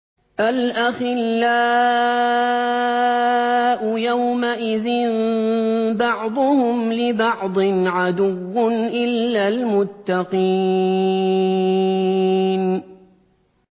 الْأَخِلَّاءُ يَوْمَئِذٍ بَعْضُهُمْ لِبَعْضٍ عَدُوٌّ إِلَّا الْمُتَّقِينَ